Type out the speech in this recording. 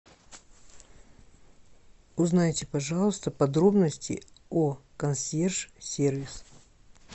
узнайте пожалуйста подробности о консьерж сервис